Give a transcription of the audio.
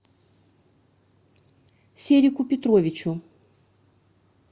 серику петровичу